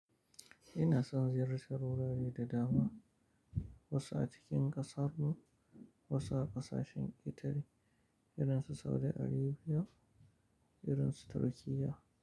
Ina son ziyartar wurare da dama, wasu a cikin ƙasar mu, wasu a ƙasashen Itali, irinsu Saudi Arabiya, irinsu Turkiyya.